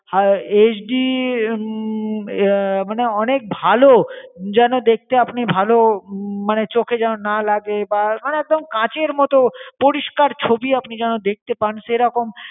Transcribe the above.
আহ HD হম আহ মানে অনেক ভালো যেন দেখতে আপনি ভালো হম মানে চোখে যেন না লাগে বা মানে একদম কাঁচের মতো পরিষ্কার ছবি আপনি যেন দেখতে পান, সেরকম